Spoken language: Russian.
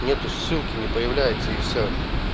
нету ссылки не появляется и все